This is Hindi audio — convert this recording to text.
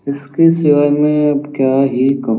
इसके सिवाय मैं अब क्या ही कहूँ ।